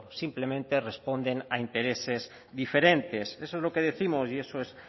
simplemente responden a intereses diferentes eso es lo que décimos y eso es